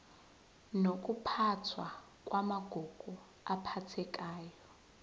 nokuphathwa kwamagugu aphathekayo